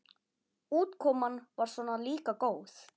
Útkoman var svona líka góð.